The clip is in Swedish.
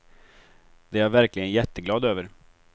Det är jag verkligen jätteglad över.